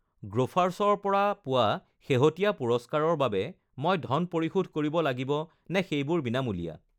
গ্ৰ'ফাৰ্ছৰ পৰা পোৱা শেহতীয়া পুৰস্কাৰৰ বাবে মই ধন পৰিশোধ কৰিব লাগিব নে সেইবোৰ বিনামূলীয়া?